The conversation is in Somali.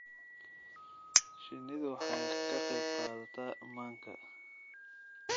Shinnidu waxay ka qayb qaadataa manka.